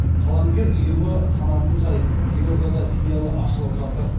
қаламгер ұйымы қанатын жайып елордада филиалы ашылып жатыр